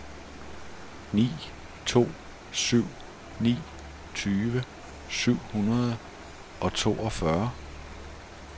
ni to syv ni tyve syv hundrede og toogfyrre